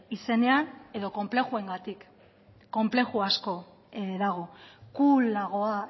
izenean edo konplexuengatik konplexu asko dago coolagoa